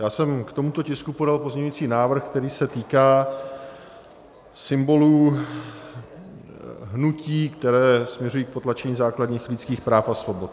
Já jsem k tomuto tisku podal pozměňující návrh, který se týká symbolů hnutí, která směřují k potlačení základních lidských práv a svobod.